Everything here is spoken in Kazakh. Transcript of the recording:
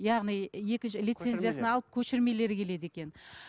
яғни екінші лицензиясын алып көшірмелері келеді екен